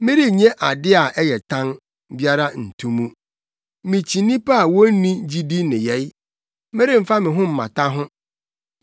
Merennye ade a ɛyɛ tan biara nto mu. Mikyi nnipa a wonni gyidi nneyɛe; meremfa me ho mmata ho.